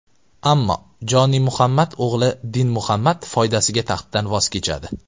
Ammo Jonimuhammad o‘g‘li Dinmuhammad foydasiga taxtdan voz kechadi.